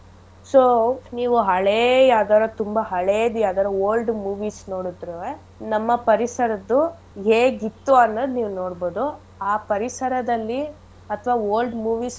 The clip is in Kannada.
So ನೀವ್ ಹೇಳೇ ಯಾವ್ದಾರ ತುಂಬಾ ಹೇಳೇದ್ ಯಾವ್ದಾದ್ರು old movies ನೋಡಿದ್ರುವೆ ನಮ್ಮ ಪರಿಸರದ್ದು ಹೇಗಿತ್ತು ಅನ್ನೋದ್ ನೀವ್ ನೋಡ್ಬೋದು ಆ ಪರಿಸರದಲ್ಲಿ ಅಥವಾ old movies ಅಲ್ಲಿ.